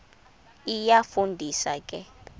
iyafu ndisa ke